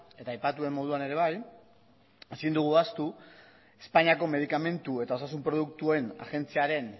eta aipatu den moduan ere bai ezin dugu ahaztu espainiako medikamentu eta osasun produktuen agentziaren